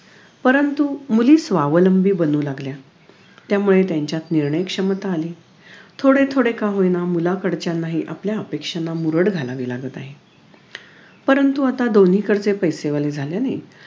परंतु मुली स्वावलंबी बानू लागल्या त्यामुळे त्यांच्यात निर्णयक्षमता आली थोडे थोडे का होईना मुलाकडच्यांनाहि का होईना आपल्या अपेक्षांना मुरड घालावी लागत आहे परंतु आता दोन्हीकडचे पैसेवाले झाल्याने